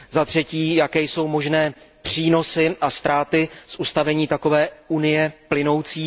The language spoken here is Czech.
Za třetí, jaké jsou možné přínosy a ztráty z ustavení takové unie plynoucí?